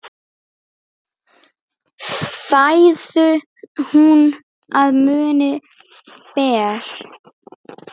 Fæðu hún að munni ber.